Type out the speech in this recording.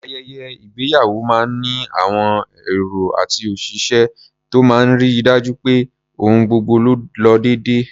Ayẹyẹ ìgbéyàwó máa ń ní àwọn èrò àti òṣìṣẹ́ tó máa ń ri dájú pé ohun gbogbo lo déédé.